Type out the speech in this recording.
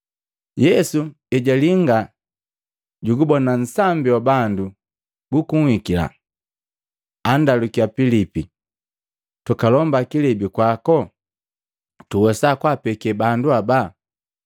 Yesu ejalinga jugubona nsambi wa bandu gukuhikila, andalukiya Pilipi, “Tukalomba kilebi kwako ili tuwesa kapeke bandu ababa?”